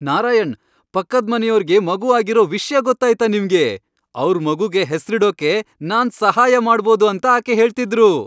ನಾರಾಯಣ್, ಪಕ್ಕದ್ಮನೆಯೋರ್ಗೆ ಮಗು ಆಗಿರೋ ವಿಷ್ಯ ಗೊತ್ತಾಯ್ತಾ ನಿಮ್ಗೆ? ಅವ್ರ್ ಮಗುಗೆ ಹೆಸ್ರಿಡೋಕೆ ನಾನ್ ಸಹಾಯ ಮಾಡ್ಬೋದು ಅಂತ ಆಕೆ ಹೇಳ್ತಿದ್ರು.